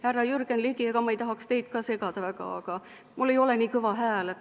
Härra Jürgen Ligi, ma ei tahaks teid ka segada, aga mul ei ole nii kõva hääl.